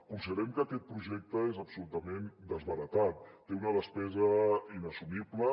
considerem que aquest projecte és absolutament desbaratat té una despesa inassumible